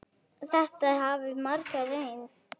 Þetta hafa margir reynt.